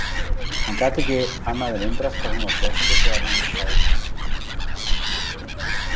Hann gat ekki annað en undrast hvað hún var brosandi þegar hún sagði þetta.